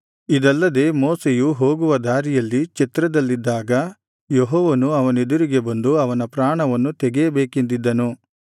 ಇದಲ್ಲದೆ ಮೋಶೆಯು ಹೋಗುವ ದಾರಿಯಲ್ಲಿ ಛತ್ರದಲ್ಲಿದ್ದಾಗ ಯೆಹೋವನು ಅವನೆದುರಿಗೆ ಬಂದು ಅವನ ಪ್ರಾಣವನ್ನು ತೆಗೆಯಬೇಕೆಂದಿದ್ದನು